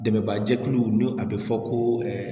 Dɛmɛba jɛkuluw ni a bɛ fɔ ko